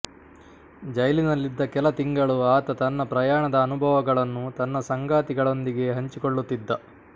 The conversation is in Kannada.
ಜೈಲಿನಲ್ಲಿದ್ದ ಕೆಲ ತಿಂಗಳು ಆತ ತನ್ನ ಪ್ರಯಾಣದ ಅನುಭವಗಳನ್ನು ತನ್ನ ಸಂಗಾತಿಗಳೊಂದಿಗೆ ಹಂಚಿಕೊಳ್ಳುತ್ತಿದ್ದ